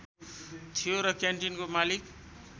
थियो र क्यान्टिनको मालिक